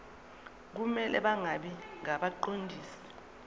kumele bangabi ngabaqondisi